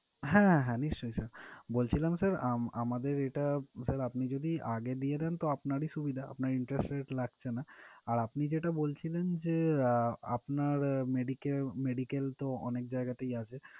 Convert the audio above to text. হ্যাঁ হ্যাঁ নিশ্চয়ই sir বলছিলাম sir আম~আমাদের এটা আপনি যদি আগে দিয়ে দেন তো আপনারই সুবিধা, আপনার interest rate লাগছে না, আর আপনি যেটা বলছিলেন যে আহ medica~medical তো অনেক জায়গাতেই আছে।